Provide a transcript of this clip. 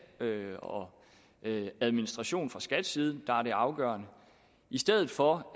og administrationen fra skats side der er det afgørende i stedet for